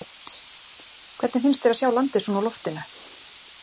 Hödd: Hvernig finnst þér að sjá landið svona úr loftinu?